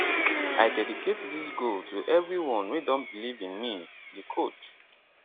i dedicate dis goal to evri one wey don believe in me di coach